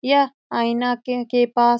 यह आइना के पास --